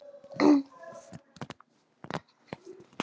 Ég er alveg á móti því sem stendur.